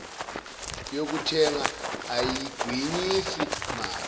yokuthenga ayigwinyisi mathe